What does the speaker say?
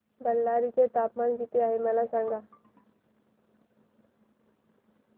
बेल्लारी चे तापमान किती आहे सांगा